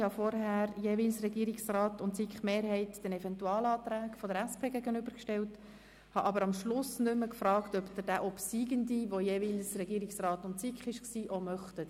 Ich habe vorhin jeweils die Anträge des Regierungsrats und der SiK-Mehrheit den Eventualanträgen der SP-JUSOPSA-Fraktion gegenübergestellt, aber am Schluss nicht mehr gefragt, ob Sie den obsiegenden Antrag auch annehmen möchten.